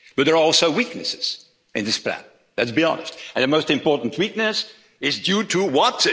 But there are also weaknesses in this plan, let's be honest. And the most important weakness is due to what?